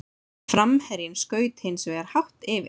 Framherjinn skaut hins vegar hátt yfir.